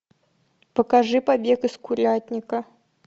покажи побег из курятника